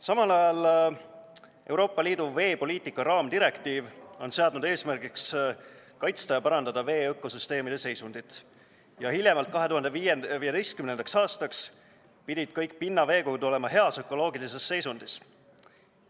Samal ajal on Euroopa Liidu veepoliitika raamdirektiiv seadnud eesmärgiks kaitsta ja parandada veeökosüsteemide seisundit ja hiljemalt 2015. aastaks pidid kõik pinnaveekogud olema heas ökoloogilises seisundis.